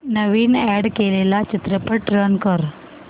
नवीन add केलेला चित्रपट run कर